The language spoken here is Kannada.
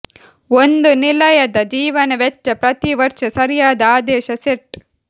ಒಂದು ನಿಲಯದ ಜೀವನ ವೆಚ್ಚ ಪ್ರತಿ ವರ್ಷ ಸರಿಯಾದ ಆದೇಶ ಸೆಟ್